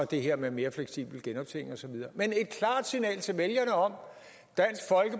det her med mere fleksibel genoptjening og så videre men et klart signal til vælgerne om